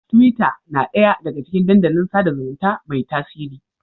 Tiwita na ɗaya daga cikin dandalin sada zumunta mai tasiri.